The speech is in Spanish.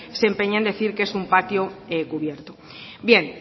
se empeña en decir que es un patio cubierto bien